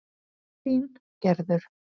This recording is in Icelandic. Þín Gerður.